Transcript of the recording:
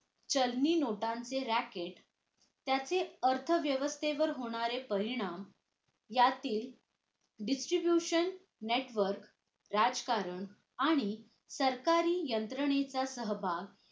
चलनी नोटांचे racket त्याचे अर्थव्यवसंस्थेवर होणारे परिणाम यातील distribution network राजकारण आणि सरकारी यंत्रणेचा सहभाग